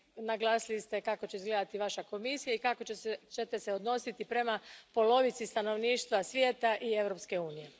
Naglasili ste kako će izgledati Vaša Komisija i kako ćete se odnositi prema polovici stanovništva svijeta i Europske unije.